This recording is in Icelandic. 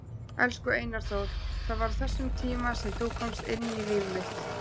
Elsku Einar Þór, það var á þessum tíma sem þú komst inn í líf mitt.